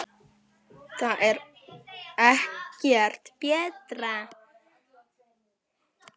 Það er ekkert betra.